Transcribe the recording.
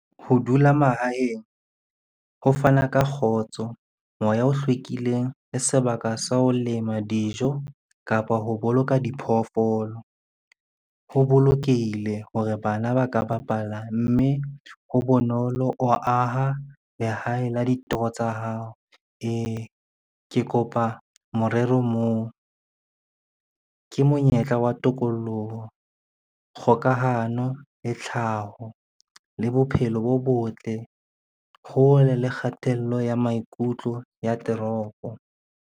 Ho dula mahaheng, ho fana ka kgotso, moya o hlwekileng le sebaka sa ho lema dijo kapa ho boloka diphoofolo. Ho bolokehile hore bana ba ka bapala, mme ho bonolo o aha lehae la ditoro tsa hao. Ee, ke kopa morero moo ke monyetla wa tokoloho, kgokahano le tlhaho le bophelo bo botle hole le kgatello ya maikutlo ya toropo.